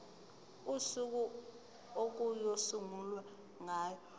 usuku okuyosungulwa ngalo